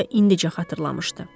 Guya indicə xatırlamışdı.